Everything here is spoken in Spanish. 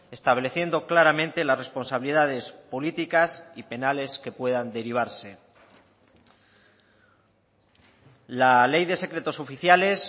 estableciendo claramente las responsabilidades políticas y penales que puedan derivarse la ley de secretos oficiales